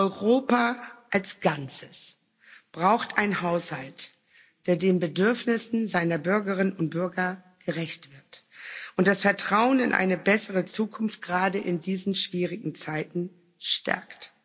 Europa als Ganzes braucht einen Haushalt, der den Bedürfnissen seiner Bürgerinnen und Bürger gerecht wird und das Vertrauen in eine bessere Zukunft gerade in diesen schwierigen Zeiten stärkt.